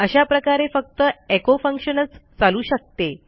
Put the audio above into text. अशा प्रकारे फक्त एको फंक्शनच चालू शकते